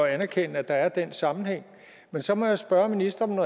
at anerkende at der er den sammenhæng men så må jeg spørge ministeren